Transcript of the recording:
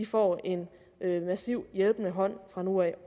får en massivt hjælpende hånd fra nu af